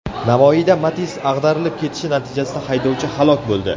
Navoiyda Matiz ag‘darilib ketishi natijasida haydovchi halok bo‘ldi.